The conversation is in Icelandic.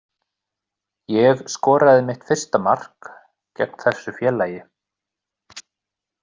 Ég skoraði mitt fyrsta mark gegn þessu félagi.